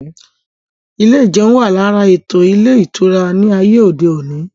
Ilé ìjeun wà lára ètò ilé ìtura ní ayé òde òní